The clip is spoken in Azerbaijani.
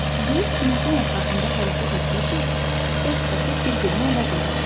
Yer günəşin ətrafında hərəkət etdikcə dörd fəsil bir-birini əvəz eləyir.